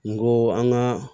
N ko an ka